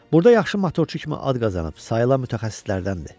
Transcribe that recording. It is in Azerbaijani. Burda yaxşı motorçu kimi ad qazanıb sayılan mütəxəssislərdəndir.